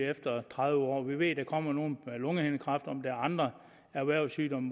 efter tredive år vi ved at der kommer nogen med lungehindekræft men om der er andre erhvervssygdomme